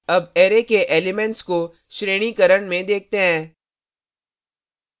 अब array के elements को श्रेणीकरण में देखते हैं